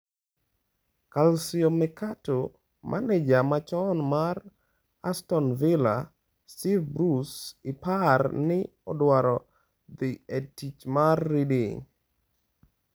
(Calciomercato) Maneja machon mar Aston Villa, Steve Bruce, ipar ni odwar dhi e tich mar Reading.